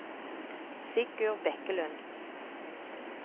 Sigurd Bekkelund